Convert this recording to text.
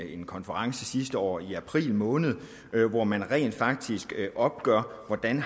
en konference sidste år i april måned hvor man rent faktisk opgjorde hvordan